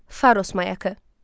Faros Mayakı.